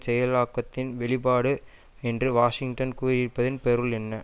செயலாக்கத்தின் வெளிப்பாடு என்று வாஷிங்டன் கூறியிருப்பதின் பொருள் என்ன